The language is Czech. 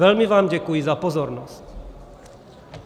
Velmi vám děkuji za pozornost.